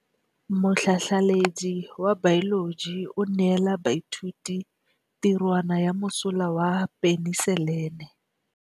Motlhatlhaledi wa baeloji o neela baithuti tirwana ya mosola wa peniselene.